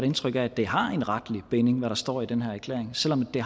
indtryk af at det har en retlig binding hvad der står i den her erklæring selv om det